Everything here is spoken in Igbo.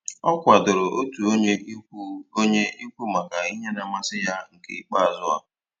Ọ kwadoro otu onye ikwu onye ikwu maka ihe na amasị ya nke ikpeazụ a